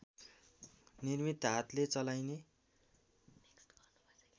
निर्मित हातले चलाइने